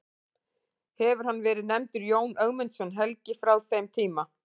Hefur hann verið nefndur Jón Ögmundsson helgi frá þeim tíma.